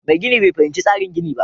Mai gini bai fahimci tsarin ginin ba